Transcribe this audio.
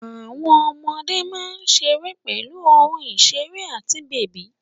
Àwọn ọmọdé máa ń ṣeré pẹ̀lú ohun ìṣeré àti bèbí.